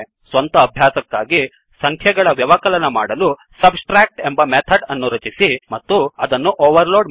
ಸ್ವಂತ ಅಭ್ಯಾಸಕ್ಕಾಗಿ ಸಂಖ್ಯೆಗಳ ವ್ಯವಕಲನ ಮಾಡಲು ಸಬ್ಟ್ರಾಕ್ಟ್ ಎಂಬ ಮೆಥಡ್ ಅನ್ನು ರಚಿಸಿ ಮತ್ತು ಅದನ್ನು ಓವರ್ ಲೋಡ್ ಮಾಡಿ